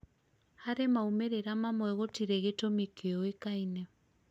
hari maumĩrĩra mamwe gũtirĩ gĩtumi kĩũĩkaine